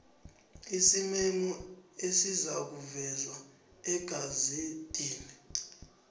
isimemo esizakuvezwa egazedini